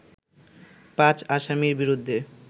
পাঁচ আসামির বিরুদ্ধে